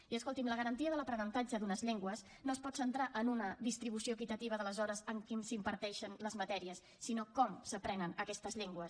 i escolti’m la garantia de l’aprenentatge d’unes llengües no es pot centrar en una distribució equitativa de les hores en què s’imparteixen les matèries sinó en com s’aprenen aquestes llengües